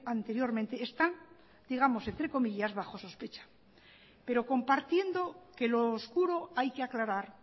anteriormente están digamos entre comillas bajo sospecha pero compartiendo que lo oscuro hay que aclarar